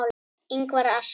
Ingvar asks.